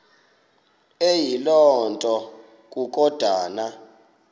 eyiloo nto kukodana